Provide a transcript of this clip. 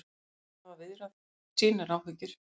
Þau hafa viðrað sínar áhyggjur